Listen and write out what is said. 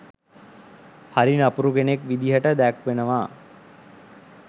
හරි නපුරු කෙනෙක් විදිහට දැක්වෙනවා.